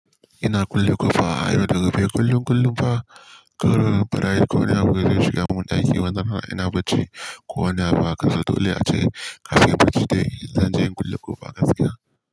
Ina kulle kofa a yau da gobe kullum kullum fa, karr farayi ko wani abu yazo shiga mun ɗaki, wannan fa ina bacci ko wani abu a haka dole a ce kafin nayi bacci zanje na kulle kofa gaskiya.